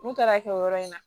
N'u taara kɛ o yɔrɔ in na